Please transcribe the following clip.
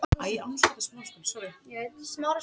Einhvern veginn þarf að opna lásinn!